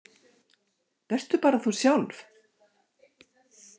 Vertu bara þú sjálf.